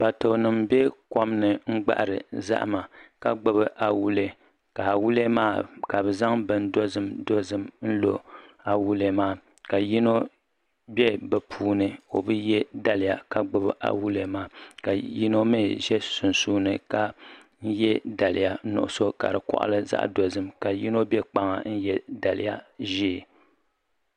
Kparitoonima m-be kom ni n-gbahiri zahima ka gbubi awulee ka awulee maa ka bɛ zaŋ bin dozim dozim n-lɔ awulee maa ka yino be bɛ puuni o bi ye daliya ka gbubi awulee maa ka yino mi ʒe sunsuuni ka ye daliya nuɣisɔ ka di kɔɣili zaɣ' dozim ka yino be kpaŋa ka ye daliya ʒee.